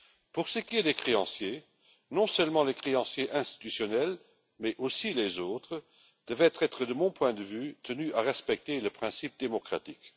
Pour ce qui est des créanciers, non seulement les créanciers institutionnels mais aussi les autres devraient être, de mon point de vue, tenus de respecter le principe démocratique.